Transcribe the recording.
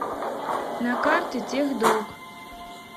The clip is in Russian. на карте техдок